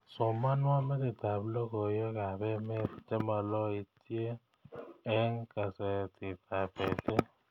Somanwon metitab logoywekab emet chemaloityen eng kasetitab betut